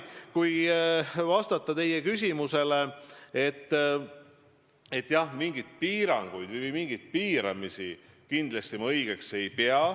Kui vastata teie küsimusele, siis mingeid piiranguid ma õigeks ei pea.